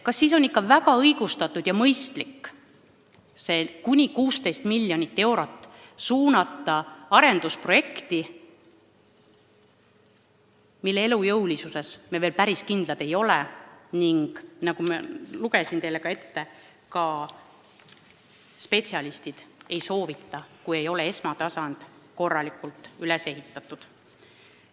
Kas siis on ikka õigustatud ja mõistlik suunata see 16 miljonit eurot arendusprojekti, mille elujõulisuses me veel päris kindlad ei ole ning mida, nagu ma teile ette lugesin, ka spetsialistid ei soovita ette võtta enne, kui ei ole esmatasand korralikult üles ehitatud.